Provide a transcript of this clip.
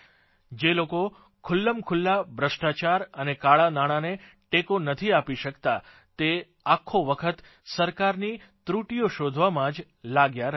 જે લોકો ખુલ્લંખુલ્લા ભ્રષ્ટાચાર અને કાળાંનાણાંને ટેકો નથી આપી શકતાં તે આખો વખત સરકારની ત્રૂટીઓ શોધવામાં જ લાગ્યા રહે છે